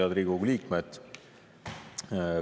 Head Riigikogu liikmed!